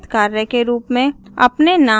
नियतकार्य के रूप में